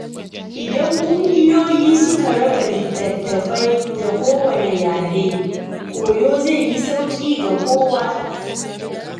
Idan kungiyoyi suka raba littattafai ga kowane yare, koyo zai yi sauƙi ga kowa.